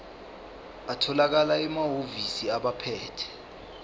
atholakala emahhovisi abaphethe